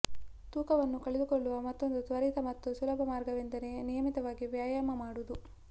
ತೂಕವನ್ನು ಕಳೆದುಕೊಳ್ಳುವ ಮತ್ತೊಂದು ತ್ವರಿತ ಮತ್ತು ಸುಲಭ ಮಾರ್ಗವೆಂದರೆ ನಿಯಮಿತವಾಗಿ ವ್ಯಾಯಾಮ ಮಾಡುವುದು